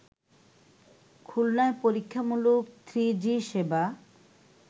খুলনায় পরীক্ষামূলক থ্রিজি সেবা